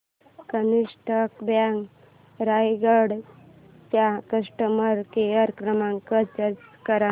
Karnataka bank Raigad चा customer care क्रमांक search कर